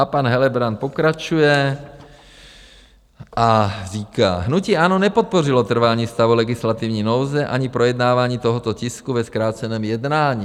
A pan Helebrant pokračuje a říká: Hnutí ANO nepodpořilo trvání stavu legislativní nouze ani projednávání tohoto tisku ve zkráceném jednání.